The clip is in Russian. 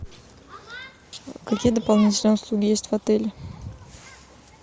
какие дополнительные услуги есть в отеле